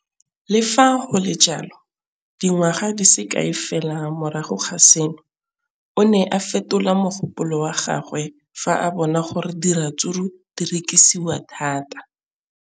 Le fa go le jalo, dingwaga di se kae fela morago ga seno, o ne a fetola mogopolo wa gagwe fa a bona gore diratsuru di rekisiwa thata.